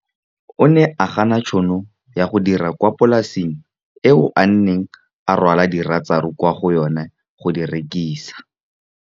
O ne a gana tšhono ya go dira kwa polaseng eo a neng rwala diratsuru kwa go yona go di rekisa.